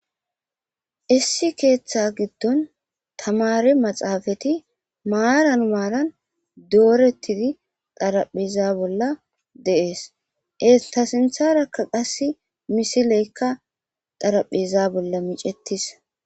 Issi keeththa giddon tamari maxaafati maaran maalan doorettidi xaraphiza bolla deees eta sintharakka qass misileykka xaraphiza bolla micettis.